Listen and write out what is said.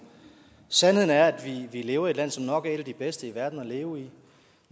sandheden er at vi lever i et land som nok er et af de bedste i verden at leve i